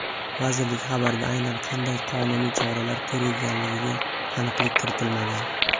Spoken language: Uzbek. Vazirlik xabarida aynan qanday qonuniy choralar ko‘rilganiga aniqlik kiritilmagan.